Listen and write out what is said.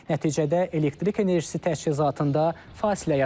Nəticədə elektrik enerjisi təchizatında fasilə yaranıb.